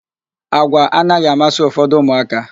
Àgwà anaghị amasị ụfọdụ ụmụaka.